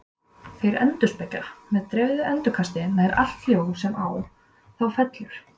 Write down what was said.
Þeir endurspegla með dreifðu endurkasti nær allt ljós sem á þá fellur.